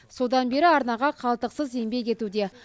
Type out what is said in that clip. содан бері арнаға қалтықсыз еңбек етуде